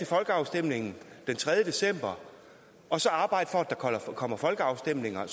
folkeafstemningen den tredje december og så arbejde for at der kommer folkeafstemninger